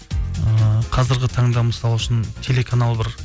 ыыы қазіргі таңда мысалы үшін телеканал бір